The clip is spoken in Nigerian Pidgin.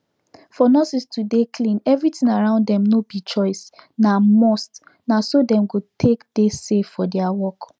for nurses to dey clean everything around them no be choice na must na so dem go take dey safe for their work